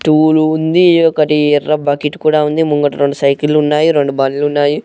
Tool ఉంది ఇదొకటి ఎర్ర బకెట్ కూడా ఉంది ముంగట రెండు సైకిల్ లున్నాయి రెండు బళ్ళున్నాయి.